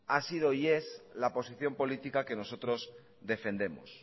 ha sido y es la posición política que nosotros defendemos